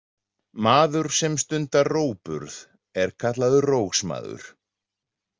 Maður sem stundar rógburð er kallaður „rógsmaður“.